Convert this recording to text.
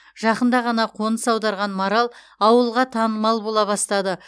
жақында ғана қоныс аударған марал ауылға танымал бола бастады